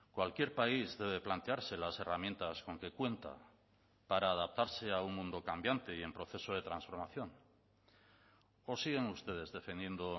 cualquier país debe plantearse las herramientas con que cuenta para adaptarse a un mundo cambiante y en proceso de transformación o siguen ustedes defendiendo